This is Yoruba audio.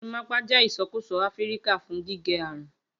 Gorimapa jẹ isọkusọ Afirika fun gige Arun